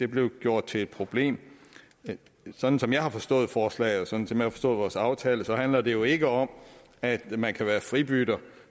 blev gjort til et problem sådan som jeg har forstået forslaget og sådan som jeg har forstået vores aftale handler det jo ikke om at man kan være fribytter